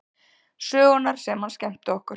Sögurnar sem hann skemmti okkur